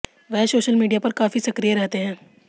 वह social media पर काफी सक्रिय रहते है